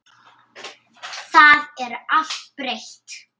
Það er allt breytt.